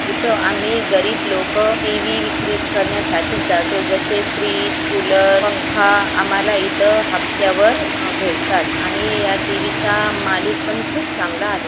इथं आम्ही गरीब लोक टी_व्ही विक्री करण्यासाठी जातो जसे फ्रिज कुलर पंखा आम्हाला इथं हप्त्यावर भेटतात आणि या टी_व्हीचा मालिक पण खूप चांगला आहे.